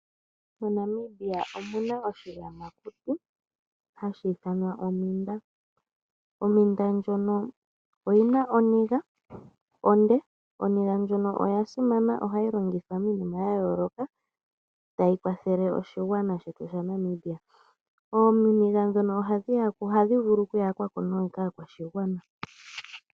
MoNamibia omuna oshiyamakuti hashi ithanwa ompinda. Ompinda ndjono oyina oniga onde, oniga ndjono oya simana. Ohayi longithwa miinima ya yooloka tayi kwathele oshigwana shetu shaNamibia. Ooniga ndhono ohadhi vulu okuyakwa ko kaakwashigwana.